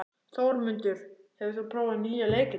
Þórmundur, hefur þú prófað nýja leikinn?